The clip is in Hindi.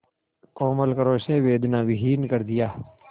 कोमल करों से वेदनाविहीन कर दिया